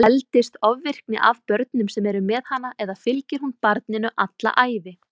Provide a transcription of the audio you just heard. Eldist ofvirkni af börnum sem eru með hana eða fylgir hún barninu alla ævi?